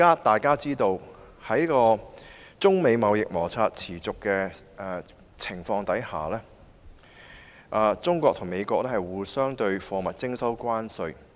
眾所周知，在中美貿易摩擦持續的情況下，中國和美國向對方的貨物徵收關稅。